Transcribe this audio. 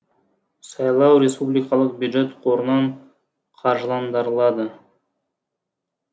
сайлау республикалық бюджет қорынан қаржыландырылады